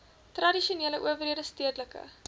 tradisionele owerhede stedelike